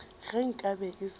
ge nka be e se